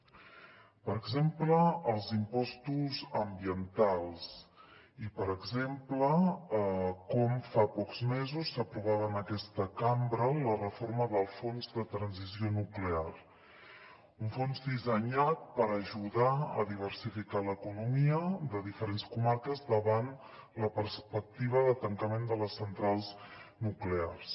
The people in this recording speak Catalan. per exemple els impostos ambientals i per exemple com fa pocs mesos s’aprovava en aquesta cambra la reforma del fons de transició nuclear un fons dissenyat per ajudar a diversificar l’economia de diferents comarques davant la perspectiva de tancament de les centrals nuclears